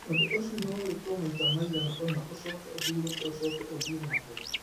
Ũndũ ũcio no wĩkwo maita maigana ũna ũcoke ũhurũke ũcoke ũthiĩ na mbere.